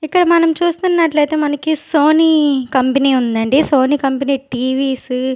ఇక్కడ మనం చూస్తున్నట్లయితే మనకి సోనీ కంపెనీ ఉందండి సోనీ కంపెనీ టీ_వీస్ .